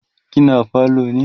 kina falo ne?